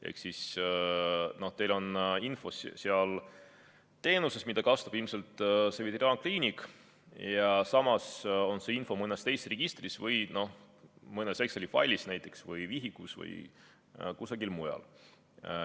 Ehk siis teie info teenuses, mida kasutab ilmselt veterinaarkliinik, ja samas on see info ka mõnes teises registris või näiteks mõnes Exceli failis või vihikus või kusagil mujal.